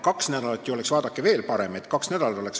Kaks nädalat oleks, vaadake, veel parem.